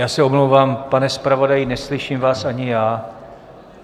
Já se omlouvám, pane zpravodaji, neslyším vás ani já.